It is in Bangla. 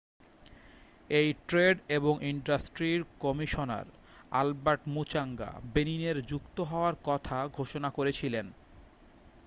এউ ট্রেড এবং ইন্ডাস্ট্রির কমিশনার অ্যালবার্ট মুচাঙ্গা বেনিনের যুক্ত হওয়ার কথা ঘোষণা করেছিলেন